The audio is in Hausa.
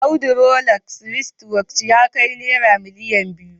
Audu Rolex writchwatch ya kai naira miliyan biyu